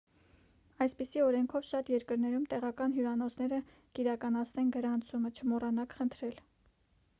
այսպիսի օրենքով շատ երկրներում տեղական հյուրանոցները կիրականացնեն գրանցումը չմոռանաք խնդրել: